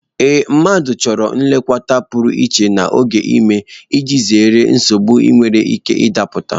Ee, mmadụ chọrọ nlekọta pụrụ iche n'oge ime iji zere nsogbu ndị nwere ike ịda pụta.